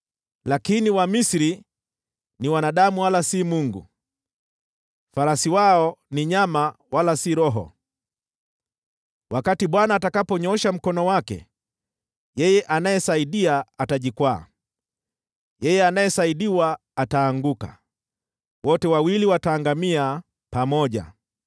Lakini Wamisri ni wanadamu, wala si Mungu, farasi wao ni nyama, wala si roho. Wakati Bwana atakaponyoosha Mkono wake, yeye anayesaidia atajikwaa, naye anayesaidiwa ataanguka, wote wawili wataangamia pamoja.